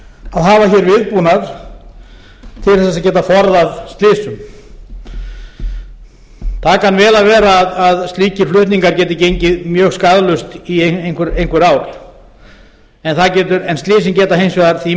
að hafa hér viðbúnað til þess að geta forðað slysum það kann vel að vera að slíkir flutningar geti gengið mjög skaðlaust í einhver ár en slysin geta hins vegar því